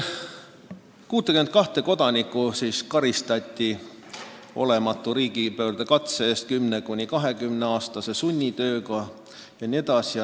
62 kodanikku karistati olematu riigipöördekatse eest 10–20 aasta pikkuse sunnitööga.